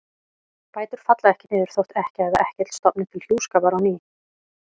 Bætur falla ekki niður þótt ekkja eða ekkill stofni til hjúskapar á ný.